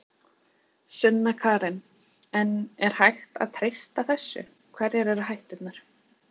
Sunna Karen: En er hægt að treysta þessu, hverjar eru hætturnar?